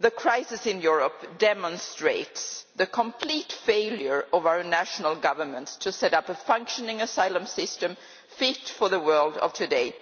The crisis in Europe demonstrates the complete failure of our national governments to set up a functioning asylum system fit for the world of today,